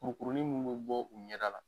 Kuru kurunin minnu bɛ bɔ u ɲɛda la,